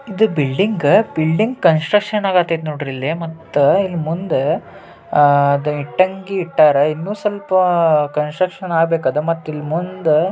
ಇದು building building construction ಆಗಾತೈತ್ ನೋಡ್ರಿಲ್ಲೆ. ಮತ್ತ ಇಲ್ ಮುಂದ ಅಹ್ ಅದ್ ಇಟ್ಟಂಗಿ ಇಟ್ಟಾರ. ಇನ್ನು ಸ್ವಲ್ಪ ಕಾನ್ಸ್ಟ್ರುಷನ್ ಆಬೇಕ ಅದ್ ಮತ್ತ್ ಇಲ್ ಮುಂದ--